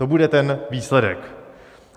To bude ten výsledek.